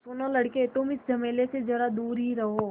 सुनो लड़के तुम इस झमेले से ज़रा दूर ही रहो